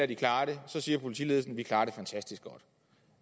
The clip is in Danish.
de klarer det siger politiledelsen at de klarer det fantastisk godt